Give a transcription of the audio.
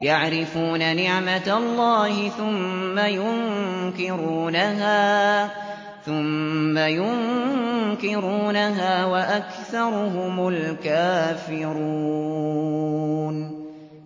يَعْرِفُونَ نِعْمَتَ اللَّهِ ثُمَّ يُنكِرُونَهَا وَأَكْثَرُهُمُ الْكَافِرُونَ